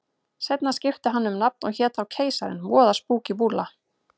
Seinna skipti hann um nafn og hét þá Keisarinn, voða spúkí búlla.